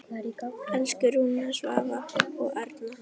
Elsku Rúna, Svavar og Erna.